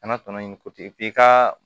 Kana tɔnɔ in ko ten k'i ka